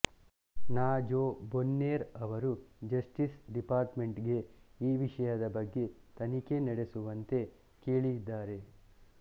ನ Jo Bonner ಅವರು justice department ಗೆ ಈ ವಿಷಯದ ಬಗ್ಗೆ ತನಿಖೆ ನಡೆಸುವಂತೆ ಕೇಳಿದ್ದಾರೆ